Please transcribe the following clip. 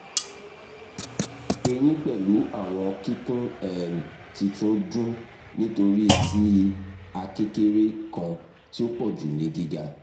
eyin pẹlu awọn kikun um titun dun nitori ti a kekere kan ti o pọju ni giga